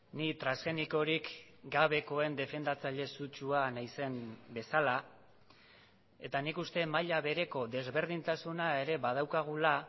ni transgenikorik gabekoen defendatzaile sutsua naizen bezala eta nik uste maila bereko desberdintasuna ere badaukagula